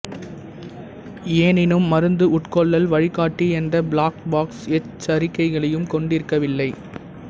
எனினும் மருந்து உட்கொள்ளல் வழிகாட்டி எந்த பிளாக் பாக்ஸ் எச்சரிக்கையையும் கொண்டிருக்கவில்லை